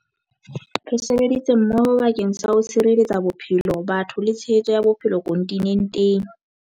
Re sebeditse mmoho bakeng sa ho tshireletsa bophelo, batho le tshehetso ya bophelo kontinenteng.